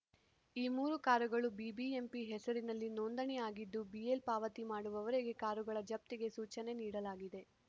ಈ ಮೂರು ಕಾರುಗಳು ಬಿಬಿಎಂಪಿ ಹೆಸರಿನಲ್ಲಿ ನೋಂದಣಿ ಆಗಿದ್ದು ಬಿಎಲ್ ಪಾವತಿ ಮಾಡುವವರೆಗೂ ಕಾರುಗಳ ಜಪ್ತಿಗೆ ಸೂಚನೆ ನೀಡಲಾಗಿದೆ